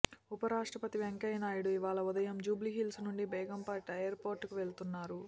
ఉపరాష్ట్రపతి వెంకయ్యనాయుడు ఇవాళ ఉదయం జూబ్లీహిల్స్ నుంచి బేగంపేట్ ఎయిర్పోర్టుకు వెళ్తున్నారు